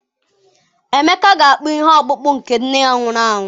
Emeka ga-akpụ ihe ọkpụkpụ nke nne ya nwụrụ anwụ.